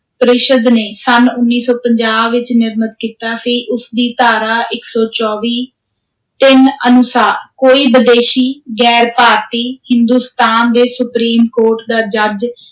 ਪ੍ਰੀਸ਼ਦ ਨੇ ਸੰਨ ਉੱਨੀ ਸੌ ਪੰਜਾਹ ਵਿਚ ਨਿਰਮਤ ਕੀਤਾ ਸੀ, ਉਸ ਦੀ ਧਾਰਾ ਇੱਕ ਸੌ ਚੌਵੀ ਤਿੰਨ ਅਨੁਸਾਰ ਕੋਈ ਬਦੇਸ਼ੀ, ਗ਼ੈਰ-ਭਾਰਤੀ, ਹਿੰਦੁਸਤਾਨ ਦੇ ਸੁਪ੍ਰੀਮ ਕੋਰਟ ਦਾ ਜੱਜ